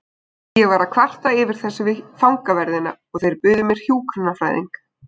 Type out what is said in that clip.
Ég var að kvarta yfir þessu við fangaverðina og þeir buðu mér hjúkrunarfræðing.